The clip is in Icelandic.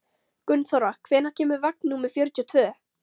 Gunnþóra, hvenær kemur vagn númer fjörutíu og tvö?